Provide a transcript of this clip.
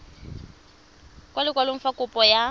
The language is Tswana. ka lekwalo fa kopo ya